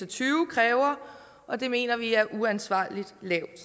og tyve kræver og det mener vi er uansvarligt lavt